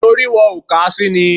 Nítorí wọn ò kà á sí ni